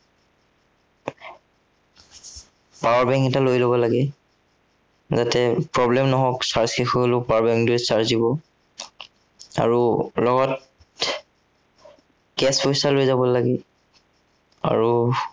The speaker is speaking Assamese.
power bank এটা লৈ যাব লাগে। যাতে problem নহওক power শেষ হৈ গলেও power bank টোৱে charge দিব। আৰু লগত cash পইচা লৈ যাব লাগে। আৰু